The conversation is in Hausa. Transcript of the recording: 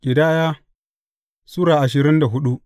Ƙidaya Sura ashirin da hudu